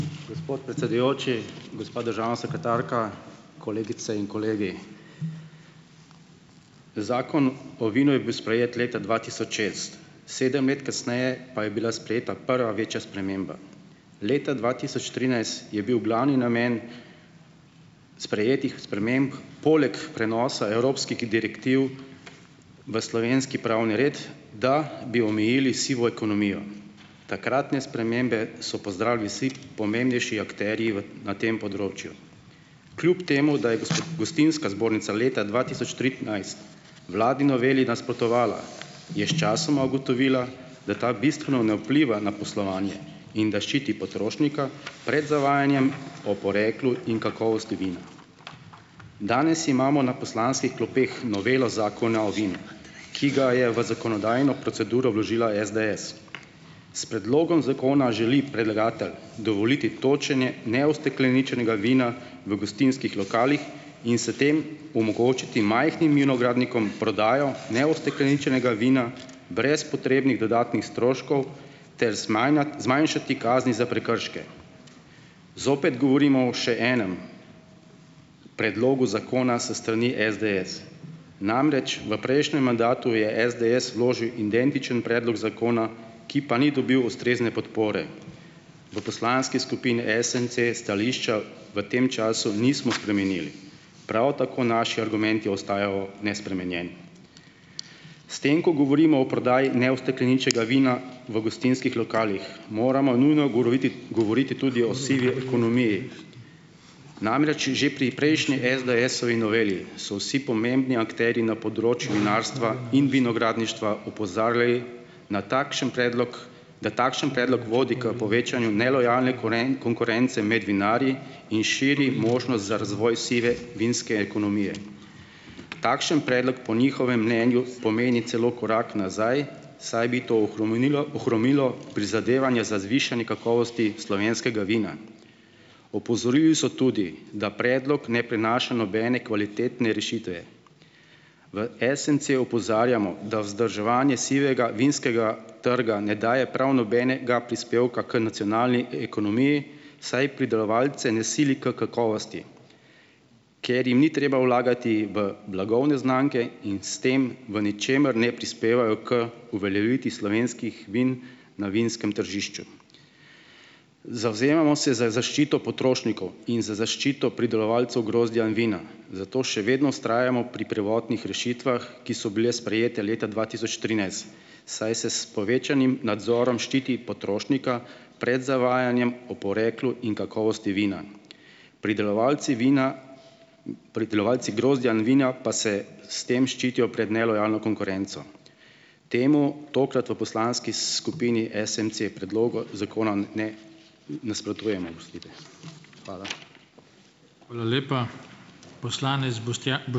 Gospod predsedujoči, gospa državna sekretarka, kolegice in kolegi. Zakon o vinu je bil sprejet leta dva tisoč šest. Sedem let kasneje pa je bila sprejeta prva večja sprememba. Leta dva tisoč trinajst je bil glavni namen sprejetih sprememb poleg prenosa evropskih direktiv v slovenski pravni red, da bi omejili sivo ekonomijo. Takratne spremembe so pozdravili vsi pomembnejši akterji v na tem področju. Kljub temu, da je Gostinska zbornica leta dva tisoč tri enajst vladni noveli nasprotovala, je sčasoma ugotovila, da ta bistveno ne vpliva na poslovanje in da ščiti potrošnika pred zavajanjem o poreklu in kakovosti vina. Danes imamo na poslanskih klopeh novelo Zakona o vinu, ki ga je v zakonodajno proceduro vložila SDS. S predlogom zakona želi predlagatelj dovoliti točenje neustekleničenega vina v gostinskih lokalnih in se tem omogočiti majhnim vinogradnikom prodajo neustekleničenega vina brez potrebnih dodatnih stroškov ter zmanjšati kazni za prekrške. Zopet govorimo o še enem predlogu zakona s strani SDS, namreč v prejšnjem mandatu je SDS vložil identični predlog zakona, ki pa ni dobil ustrezne podpore. V poslanski skupini SMC stališča v tem času nismo spremenili. Prav tako naši argumenti ostajajo nespremenjeni. S tem, ko govorimo o prodaji neustekleničenega vina v gostinskih lokalih, moramo nujno goroviti govoriti tudi o sivi ekonomiji, namreč že pri prejšnji SDS-ovi noveli so vsi pomembni akterji na področju vinarstva in vinogradništva opozarjali, na takšen predlog, da takšen predlog vodi k povečanju nelojalne konkurence med vinarji in širi možnost za razvoj sive vinske ekonomije. Takšen predlog po njihovem mnenju pomeni celo korak nazaj, saj bi to ohromenilo ohromilo prizadevanje za zvišanje kakovosti slovenskega vina. Opozorili so tudi, da predlog ne prinaša nobene kvalitetne rešitve. V SMC opozarjamo, da vzdrževanje sivega vinskega trga ne daje prav nobenega prispevka k nacionalni ekonomiji, saj pridelovalce ne sili k kakovosti, ker jim ni treba vlagati v blagovne znamke in s tem v ničemer ne prispevajo k uveljavitvi slovenskih vin na vinskem tržišču. Zavzemamo se za zaščito potrošnikov in za zaščito pridelovalcev grozdja in vina, zato še vedno vztrajamo pri prvotnih rešitvah, ki so bile sprejete leta dva tisoč trinajst, saj se s povečanim nadzorom ščiti potrošnika pred zavajanjem o poreklu in kakovosti vina. Pridelovalci vina, pridelovalci grozdja in vina pa se s tem ščitijo pred nelojalno konkurenco. Temu tokrat v poslanski skupini SMC predlogu zakona ne nasprotujemo, oprostite. Hvala.